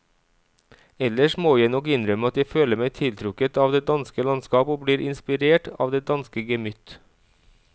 Ellers må jeg nok innrømme at jeg føler meg tiltrukket av det danske landskap og blir inspirert av det danske gemytt.